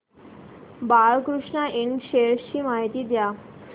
Balkrishna Ind shares ची माहिती द्या